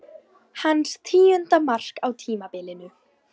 Hans tíunda mark á tímabilinu.